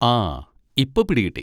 ആ! ഇപ്പൊ പിടി കിട്ടി.